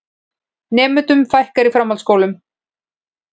Nemendum fækkar í framhaldsskólum